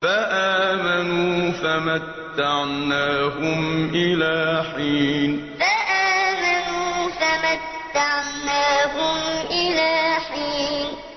فَآمَنُوا فَمَتَّعْنَاهُمْ إِلَىٰ حِينٍ فَآمَنُوا فَمَتَّعْنَاهُمْ إِلَىٰ حِينٍ